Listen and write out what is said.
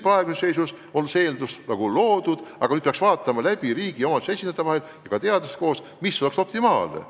Praeguses seisus on see eeldus nagu loodud, aga nüüd peaks riigi ja omavalitsuste esindajate ja ka teadlaste koostöös analüüsima, mis oleks optimaalne.